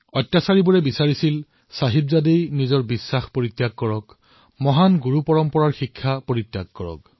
অত্যাচাৰীয়ে বিচাৰিছিল যে চাহিবজাদেয়ে নিজৰ আস্থা পৰিত্যাগ কৰক মহান গুৰুৰ পৰম্পৰা পৰিত্যাগ কৰক